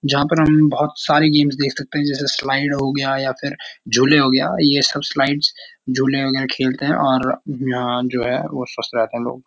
जहाँ पर हम बहोत सारे गेम्स देख सकते हैं जैसे स्लाइड हो गया या फिर झुले हो गया ये सब स्लाइड झूले वगेरा खेलते हैं और यहाँ जो हैं ।